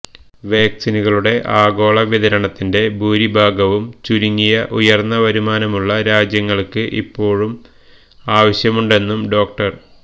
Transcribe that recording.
വാക്സിനുകളുടെ ആഗോള വിതരണത്തിന്റെ ഭൂരിഭാഗവും ചുരുങ്ങിയ ഉയര്ന്ന വരുമാനമുള്ള രാജ്യങ്ങള്ക്ക് ഇപ്പോള് ആവശ്യമുണ്ടെന്നും ഡോ